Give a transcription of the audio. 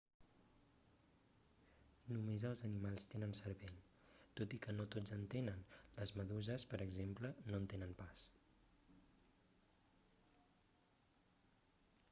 només els animals tenen cervell tot i que no tots en tenen; les meduses per exemple no en tenen pas